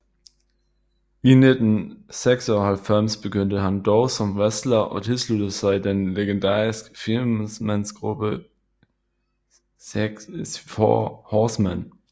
I 1996 begyndte han dog som wrestler og tilsluttede sig den legendarisk firmandsgruppe IV Horsemen